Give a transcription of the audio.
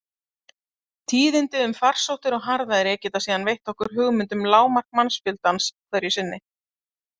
Tíðindi um farsóttir og harðæri geta síðan veitt okkur hugmynd um lágmark mannfjöldans hverju sinni.